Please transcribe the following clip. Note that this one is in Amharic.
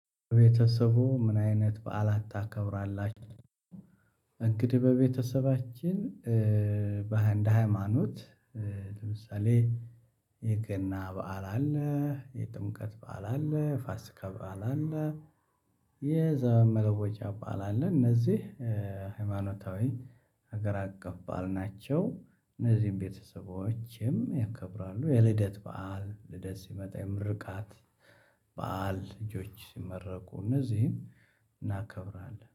ቤተሰቡ ምን አይነት በዓላት ታከብራላችሁ? እንግዲህ በቤተሰባችን በሃይማኖት እንደሀይማኖት ለምሳሌ የገና በዓል አለ የጥምቀት ባዓል አለ የፋሲካ በዓል አለ። የዘመን መለወጫ ባዓል አለ እነዚህ ሃይማኖታዊ ሀገር አቀፍ ባዓል ናቸው። እነዚህም ቤተሰቦቼም ያከብራሉ የልደት በዓል ልደት ሲመጣ የምርቃት በዓል ልጆች ሲመረቁ እነዚህን እናከብራለን።